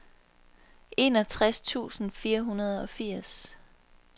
enogtres tusind fire hundrede og firs